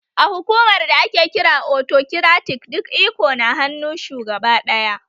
A hukumar da ake kira autokiratik duk iko na hannu shugaba ɗaya